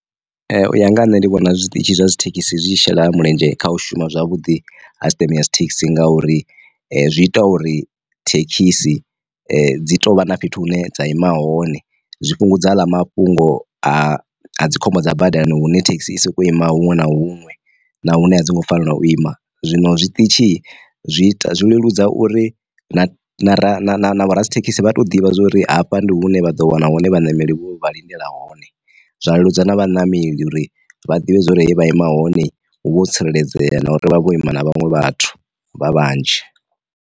U ya nga ha nṋe ndi vhona zwiṱitshi zwa dzi thekhisi zwi shela mulenzhe kha u shuma zwavhuḓi ha sisiṱeme thekhisi nga uri zwi ita uri thekhisi dzi tovha na fhethu hune dza ima hone zwi fhungudza aḽa mafhungo a dzi khombo dza badani hune thekhisi i soko ima huṅwe na huṅwe na hune a dzi ngo fanela u ima. Zwino zwiṱitshi zwi zwi leludza uri ra na vho ra dzithekhisi vha to ḓivha zwori hafha ndi hune vha ḓo wana hone vhaṋameli vho vha lindela hone, zwa leludza na vhanameli uri vha ḓivhe zwori vha ima hone hu vho tsireledzea na uri vha vho ima na vhaṅwe vhathu vha vhanzhi.